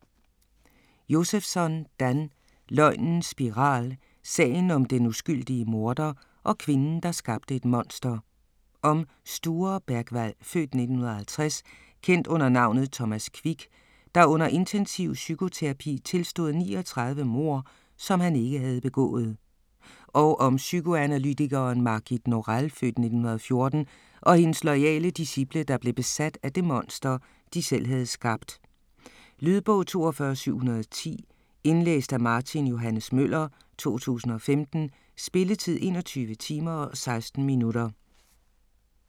Josefsson, Dan: Løgnens spiral: sagen om den uskyldige morder og kvinden der skabte et monster Om Sture Bergwall (f. 1950), kendt under navnet Thomas Quick, der under intensiv psykoterapi tilstod 39 mord, som han ikke havde begået. Og om psykoanalytikeren Margit Norell (f. 1914) og hendes loyale disciple, der blev besat af det monster, de selv havde skabt. Lydbog 42710 Indlæst af Martin Johs. Møller, 2015. Spilletid: 21 timer, 16 minutter.